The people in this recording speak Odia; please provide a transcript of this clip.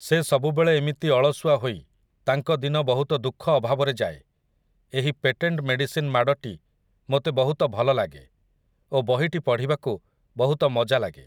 ସେ ସବୁବେଳେ ଏମିତି ଅଳସୁଆ ହୋଇ ତାଙ୍କ ଦିନ ବହୁତ ଦୁଃଖ ଅଭାବରେ ଯାଏ । ଏହି ପେଟେଣ୍ଟ ମେଡ଼ିସିନ୍ ମାଡ଼ଟି ମୋତେ ବହୁତ ଭଲ ଲାଗେ ଓ ବହିଟି ପଢ଼ିବାକୁ ବହୁତ ମଜା ଲାଗେ ।